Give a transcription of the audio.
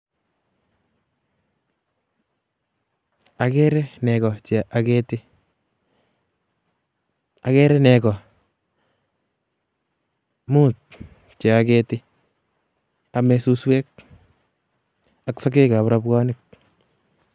Agere nego che ageti. Agere nego muut che ageti. Ame suswek ak sogek ab robwonik.